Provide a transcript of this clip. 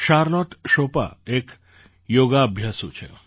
Charlotte શોપા એક યોગાભ્યાસુ છે